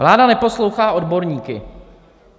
Vláda neposlouchá odborníky.